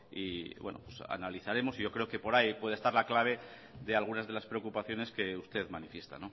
y bueno analizaremos yo creo que por ahí puede estar la clave de algunas de las preocupaciones que usted manifiesta